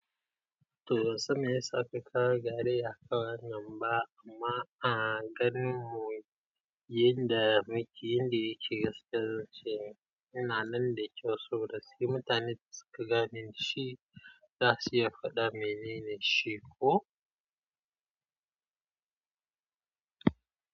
To bansan meyasa kakawo garayya akan wannan ba amma aganin mu yanda yake gaskiya ina nan da kyau soboda si. Mutanen suka gane shi za su iya faɗa menene shi ko.